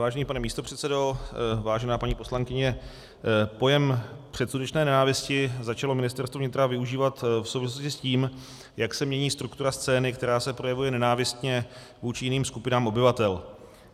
Vážený pane místopředsedo, vážená paní poslankyně, pojem předsudečné nenávisti začalo Ministerstvo vnitra využívat v souvislosti s tím, jak se mění struktura scény, která se projevuje nenávistně vůči jiných skupinám obyvatel.